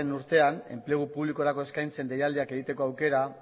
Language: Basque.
urtean enplegu publikorako eskaintzen deialdia egiteko aukera